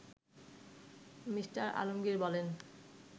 Me. Alamgir বলেন